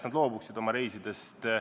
Nad loobuvad siis oma reisidest.